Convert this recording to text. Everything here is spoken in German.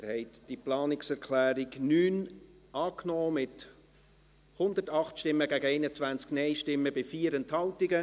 Sie haben die Planungserklärung 9 angenommen, mit 108 Ja- gegen 21 Nein-Stimmen bei 4 Enthaltungen.